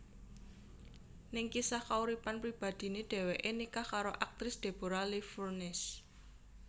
Ning kisah kauripan pribadiné dheweké nikah karo aktris Deborra Lee Furness